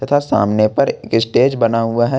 सामने पर एक स्टेज बना हुआ है।